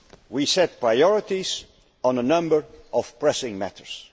We set priorities on a number of pressing matters.